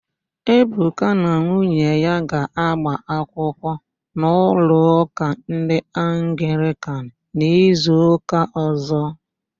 Ebuka na nwunye ya ga-agba akwụkwụ n'ụlọụ́kà ndị Anglịkan n'izuụ́kà ọ̀zọ́.